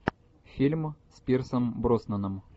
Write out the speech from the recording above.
фильм с пирсом броснаном